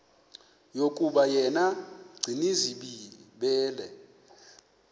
yokuba yena gcinizibele